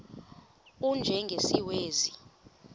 u y njengesiwezi